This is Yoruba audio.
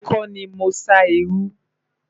èmi kò ní mọ sá iru